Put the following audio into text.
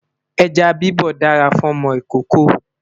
ejá bibọ dára fún ọmọ ìkókó